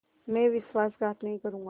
मैं विश्वासघात नहीं करूँगा